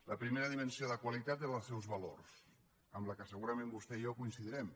la primera dimensió de qualitat són els seus valors en què segurament vostè i jo coincidirem